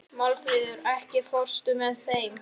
Málfríður, ekki fórstu með þeim?